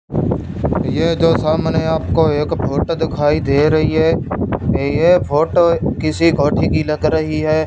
यह जो सामने आपको एक फोटो दिखाई दे रही है ये फोटो किसी कोठी की लग रही है।